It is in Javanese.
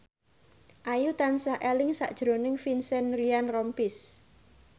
Ayu tansah eling sakjroning Vincent Ryan Rompies